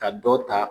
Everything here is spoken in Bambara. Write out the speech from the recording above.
Ka dɔ ta